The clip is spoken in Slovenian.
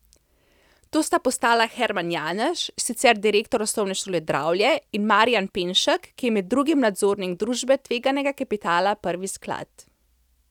To sta postala Herman Janež, sicer direktor Osnovne šole Dravlje, in Marijan Penšek, ki je med drugim nadzornik družbe tveganega kapitala Prvi sklad.